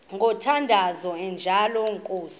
ngomthandazo onjengalo nkosi